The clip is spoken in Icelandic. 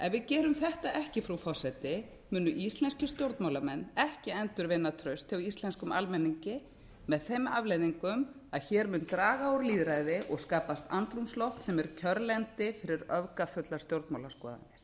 ef við gerum þetta ekki frú forseti munu íslenskir stjórnmálamenn ekki endurvinna traust hjá íslenskum almenningi með þeim afleiðingum að hér mun draga úr lýðræði og skapast andrúmsloft sem er kjörlendi fyrir öfgafullar stjórnmálaskoðanir